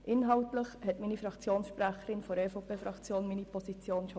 Inhaltlich hat meine Fraktionssprecherin der EVP-Fraktion meine Position bereits dargelegt.